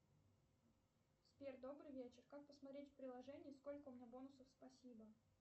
сбер добрый вечер как посмотреть в приложении сколько у меня бонусов спасибо